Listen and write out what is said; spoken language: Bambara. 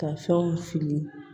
Ka fɛnw fili